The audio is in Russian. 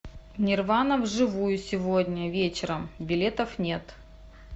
нирвана вживую сегодня вечером билетов нет